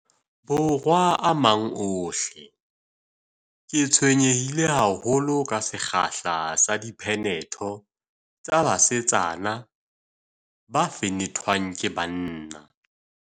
Borwa a mang ohle, ke tshwenyehile haholo ke sekgahla sa diphenetho tsa basetsana ba fenethwang ke banna.